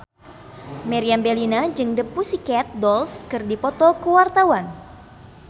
Meriam Bellina jeung The Pussycat Dolls keur dipoto ku wartawan